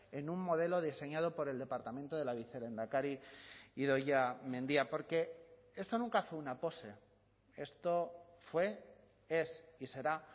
en un modelo diseñado por el departamento de la vicelehendakari idoia mendia porque esto nunca fue una pose esto fue es y será